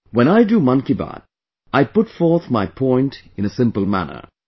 When I do 'Mann Ki Baat', I put forth my point in a simple manner